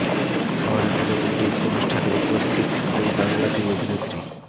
শহরের পুজো কমিটির অনুষ্ঠানে উপস্থিত দুই বাংলা দুই অভিনেত্রী